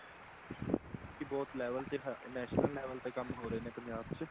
ਕੀ ਬਹੁਤ level ਤੇ national level ਤੇ ਕੰਮ ਹੋ ਰਹੇ ਨੇ ਪੰਜਾਬ ਚ